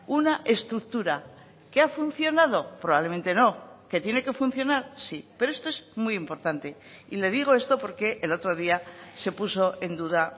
una estructura que ha funcionado probablemente no que tiene que funcionar sí pero esto es muy importante y le digo esto porque el otro día se puso en duda